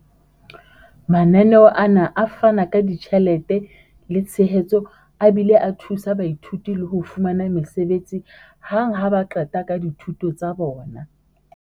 Mananeo ana a fana ka ditjhelete le tshehetso a bile a thusa baithuti le ho fumana mesebetsi hang ha ba qeta ka dithuto tsa bona.